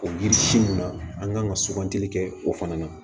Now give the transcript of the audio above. O yiri si mun na an kan ka sugantili kɛ o fana na